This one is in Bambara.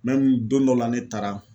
don dɔ la ne taara